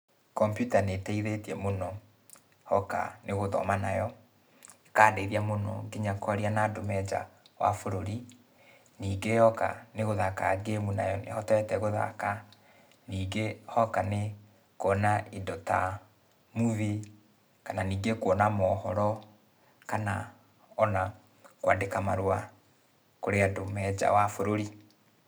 Kombiuta nĩteithĩtie mũno, hoka nĩ gũthoma nayo, ĩkandeithia mũno kinya kwaria na andũ me nja wa bũrũri. Ningĩ hoka nĩgũthaka ngĩmu nayo, nĩhotete gũthaka. Ningĩ hoka nĩ kuona indo ta movie, kana ningĩ kuona mohoro, kana, ona, kwandĩka marũa, kũrĩ andũ me nja wa bũrũri.